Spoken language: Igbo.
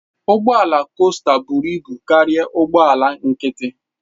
Ụgbọ ala costa buru ibu karịa ụgbọ ala nkịtị.